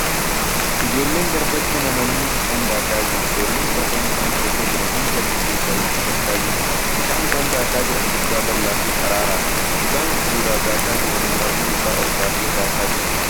Ijoolleen garbatti nammanii bishaan daakaa jiru . Ijoolleen torban bishaan keessa jiran hundi achi keessaa wixxifachaa jiru. Bishaan isaan daakaa jiran guddaa bal'aa fi qararaadha. Mucaan gidduudhaa daakaa jiru morma isaa ol baasee daakaa jira